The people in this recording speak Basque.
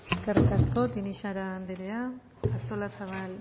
eskerrik asko tinixara andrea artolazabal